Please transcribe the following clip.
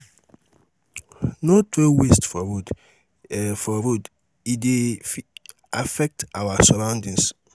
no throw waste for road; e for road; e dey affect our surroundings.